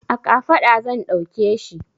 A kafaɗa zan ɗauke shi.